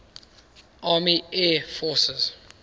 army air forces